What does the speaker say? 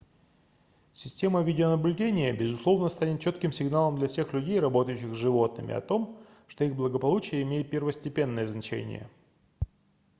система видеонаблюдения безусловно станет четким сигналом для всех людей работающих с животными о том что их благополучие имеет первостепенное значение